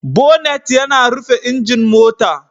Bonnet yana rufe injin mota.